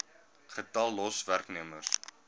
getal los werknemers